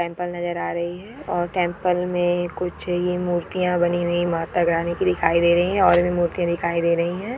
Temple दे रही हैऔर टेंपल में कुछ ही मूर्तियां बनी हुई माता रानी की दिखाई दे रही है और भी मूर्ति दिखाई दे रही है।